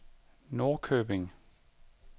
Norrköping